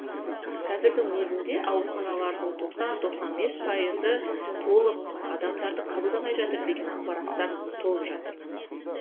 қазірдің өзінде ауруханалардың тоқсан тоқсан бес пайызы толық адамдарды қабылдамай жатыр деген ақпараттар толып жатыр